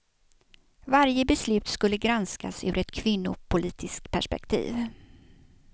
Varje beslut skulle granskas ur ett kvinnopolitiskt perspektiv.